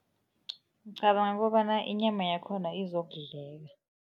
Ngicabanga kobana inyama yakhona izokudleka.